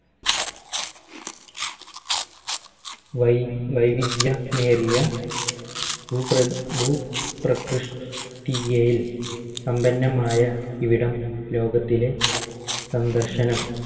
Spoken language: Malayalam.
വൈ വൈവിധ്യ മേറിയ ഭൂ ഭൂപ്രകൃഷ്ട്ടിയയിൽ സമ്പന്നമായ ഇവിടം ലോകത്തിലെ സന്ദർശനം